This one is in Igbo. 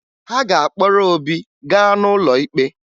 Ha ga-akpọrọ Obi gaa n'ụlọ ikpe